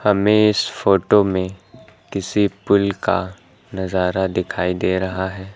हमें इस फोटो में किसी पुल का नजारा दिखाई दे रहा है।